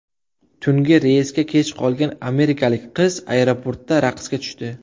Tungi reysga kech qolgan amerikalik qiz aeroportda raqsga tushdi .